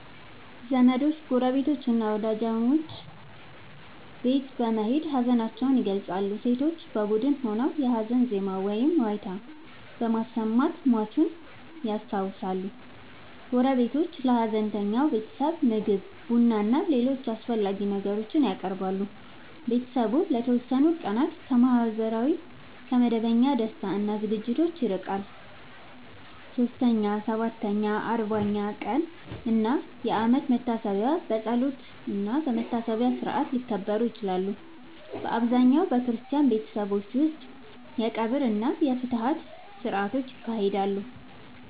ዘመዶች፣ ጎረቤቶችና ወዳጆች ወደ ሟች ቤት በመሄድ ሀዘናቸውን ይገልጻሉ። ሴቶች በቡድን ሆነው የሀዘን ዜማ ወይም ዋይታ በማሰማት ሟቹን ያስታውሳሉ። ጎረቤቶች ለሀዘንተኛው ቤተሰብ ምግብ፣ ቡናና ሌሎች አስፈላጊ ነገሮችን ያቀርባሉ። ቤተሰቡ ለተወሰኑ ቀናት ከመደበኛ ማህበራዊ ደስታ እና ዝግጅቶች ይርቃል። 3ኛ፣ 7ኛ፣ 40ኛ ቀን እና የአመት መታሰቢያ በጸሎትና በመታሰቢያ ሥርዓት ሊከበሩ ይችላሉ። በአብዛኛው በክርስቲያን ቤተሰቦች ውስጥ የቀብር እና የፍትሐት ሥርዓቶች ይካሄዳሉ።